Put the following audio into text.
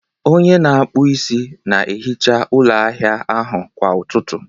onye na-akpụ isi na-ehicha ụlọ ahịa ahụ kwa ụtụtụ